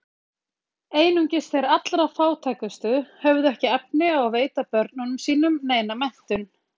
Einungis þeir allra fátækustu höfðu ekki efni á að veita börnunum sínum neina menntun.